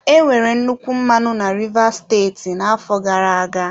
Enwere nnukwu mmanụ na rivers steeti n'afọ gara-aga.